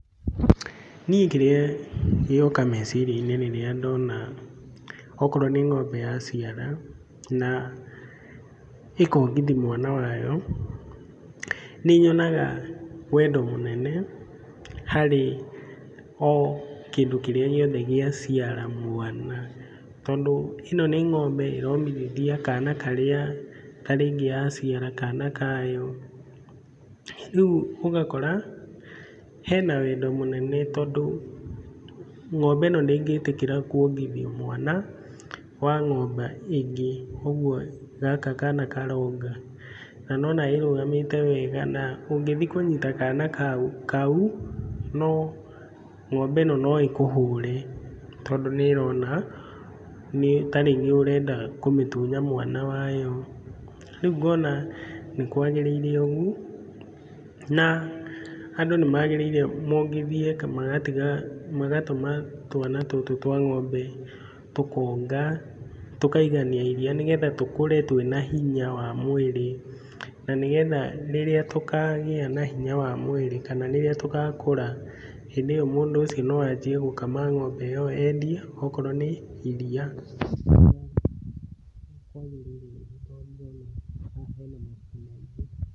Niĩ kĩrĩa gĩoka meciria-inĩ rĩrĩa ndona okorwo nĩ ng'ombe yaciara, na ĩkongithia mwana wayo, nĩ nyonaga wendo mũnene harĩ o kĩndũ kĩrĩa gĩothe kĩrĩa gĩaciara mwana, tondũ ĩno nĩ ng'ombe ĩromithia kana karĩa ta rĩngĩ yaciara, kana kayo, rĩu ũgakora, hena wendo mũnene tondũ ng'ombe ĩno ndĩngĩtĩkĩra kuongithia mwana wa ng'ombe ĩngĩ ũguo gaka kana karonga, na ũrona ĩrũgamĩte wega na ũngĩthiĩ kũnyita kana kau, ng'ombe ĩno no ĩkũhũre tondũ nĩ ĩrona ta rĩngĩ ũrenda kũmĩtunya mwana wayo, rĩu ngona nĩ kwagĩrĩire ũguo, na andũ nĩ magĩrĩire mongithie magatũma twana tũtũ twa ng'ombe tũkonga, tũkaigania iria, nĩgetha tũkũre twĩ na hinya wa mwĩrĩ, na nĩ getha rĩrĩa tũkagĩa na hinya wa mwĩrĩ, kana rĩrĩa tũgakũra, hĩndĩ ĩyo mũndũ ũcio no anjie gũkama ng'ombe ĩyo endie okorwo nĩ iria kwagĩrĩire gũtongia na haha hena ma maingĩ.